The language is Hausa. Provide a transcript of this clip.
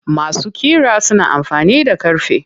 Masu ƙira suna amfani da ƙarfe.